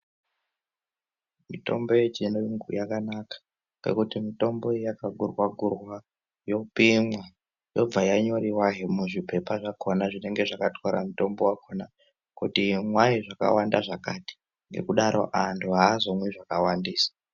Mitombo yechiyungu yakanaka ngekuti mitombo iyi yakagurwa gurwa yopimwa yobva yanyoriwahe muzvipepa zvakhona zvinenge zvakatwara mutombo wakhona kuti imwai wakawanda zvakadini ngekudaro anthu aazomwi wakawandisa.